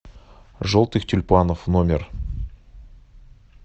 желтых тюльпанов номер